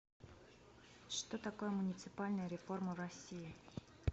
что такое муниципальная реформа в россии